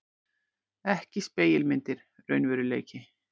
Ekki spegilmyndir, raunveruleiki.